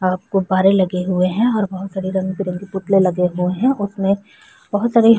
बहुत गुब्बारे लगे हुए है और बहुत सारे रंग-बिरंगे पुतले लगे हुए है उसमे बहुत सारे --